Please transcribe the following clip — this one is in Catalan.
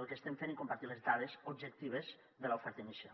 el que estem fent i compartir les dades objectives de l’oferta inicial